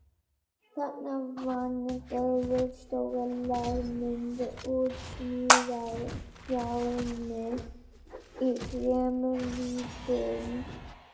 Þarna vann Gerður stóra lágmynd úr smíðajárni í þremur víddum.